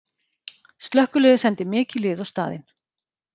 Slökkviliðið sendi mikið lið á staðinn